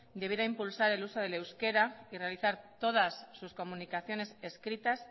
debiera impulsar el uso del euskera y realizar todas sus comunicaciones escritas